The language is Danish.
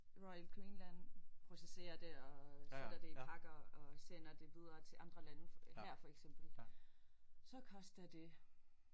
Royal Greenland processerer det og sætter det i pakker og sender det videre til andre lande her for eksempel så koster det